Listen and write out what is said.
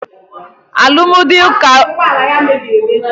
Éè, alụmdi ụkọ ikpe mụ bụ echi